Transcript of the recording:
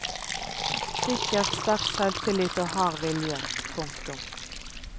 Sikkert sterk selvtillit og hard vilje. punktum